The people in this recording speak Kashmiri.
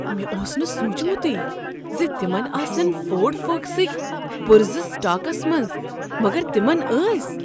مےٚ اوس نہٕ سونٛچمتُے ز تمن آسن فورڈ فوکسٕکۍ پُرزٕ سٹاكس منٛز مگر تمن ٲسۍ۔